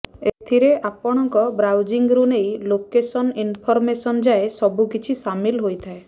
ଏଥିରେ ଆପଣଙ୍କ ବ୍ରାଉଜିଂରୁ ନେଇ ଲୋକେସନ ଇନଫର୍ମେସନ ଯାଏ ସବୁକିଛି ସାମିଲ୍ ହୋଇଥାଏ